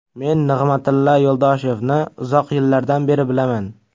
Men Nig‘matilla Yo‘ldoshevni uzoq yillardan beri bilaman.